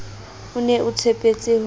o ne a tshepetse ho